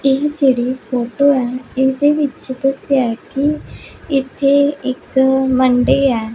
ਇਹ ਜੇੜੀ ਫੋਟੋ ਹੈ ਏਦੇ ਵਿਚ ਦਿਸ ਰਿਹਾ ਹੈ ਕੀ ਇਥੇ ਇੱਕ ਮੰਡੀ ਐ।